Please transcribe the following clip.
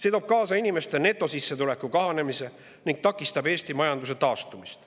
See toob kaasa inimeste netosissetuleku kahanemise ning takistab Eesti majanduse taastumist.